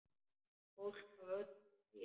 Fólk af öllu tagi.